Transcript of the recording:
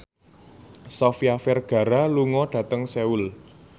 Sofia Vergara lunga dhateng Seoul